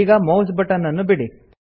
ಈಗ mouse button ಅನ್ನು ಬಿಡಿ